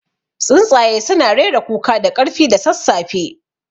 Tsuntsaye suna rera kuka da ƙarfi da sassafe.